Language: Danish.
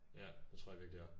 Ja det tro jeg virkelig også